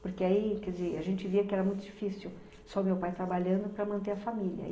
Porque aí, quer dizer, a gente via que era muito difícil só o meu pai trabalhando para manter a família.